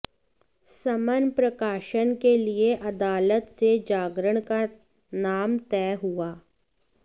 समन प्रकाशन के लिए अदालत से जागरण का नाम तय हुआ